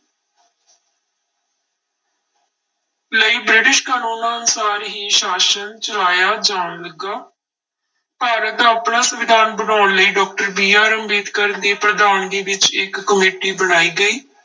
ਲਈ ਬ੍ਰਿਟਿਸ਼ ਕਾਨੂੰਨਾਂ ਅਨੁਸਾਰ ਹੀ ਸ਼ਾਸ਼ਨ ਚਲਾਇਆ ਜਾਣ ਲੱਗਾ ਭਾਰਤ ਦਾ ਆਪਣਾ ਸੰਵਿਧਾਨ ਬਣਾਉਣ ਲਈ doctor BR ਅੰਬੇਦਕਰ ਦੀ ਪ੍ਰਧਾਨਗੀ ਵਿੱਚ ਇੱਕ ਕਮੇਟੀ ਬਣਾਈ ਗਈ।